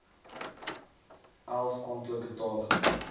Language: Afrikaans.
elf amptelike tale